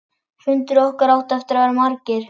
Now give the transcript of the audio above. Fundir okkar áttu eftir að verða margir.